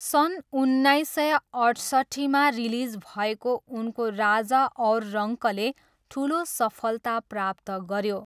सन् उन्नाइस सय अठसट्ठीमा रिलिज भएको उनको राजा और रङ्कले ठुलो सफलता प्राप्त गऱ्यो।